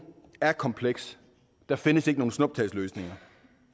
er kompleks der findes ikke nogen snuptagsløsninger